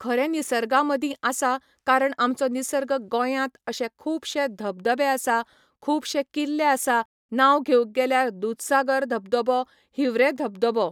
खरे निसर्गा मदीं आसा कारण आमचो निसर्ग गोंयांत अशे खूबशे धबधबे आसा खूबशे किल्ले आसा नांव घेवक गेल्यार दूधसागर धबधबो हिवरेम धबधबो